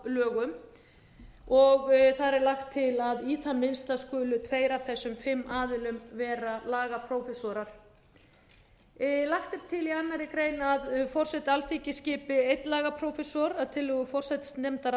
lögum þar er lagt til að í það minnsta skulu tveir af þessum fimm aðilum vera lagaprófessorar lagt er til í annarri grein að forseti alþingis skipi einn lagaprófessor að tillögu forsætisnefndar